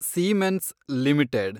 siemens limited